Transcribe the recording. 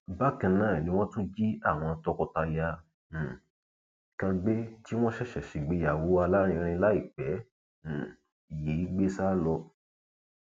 bákan náà ni wọn tún jí àwọn tọkọtaya um kan tí wọn ṣẹṣẹ ṣègbéyàwó alárinrin láìpẹ um yìí gbé sá lọ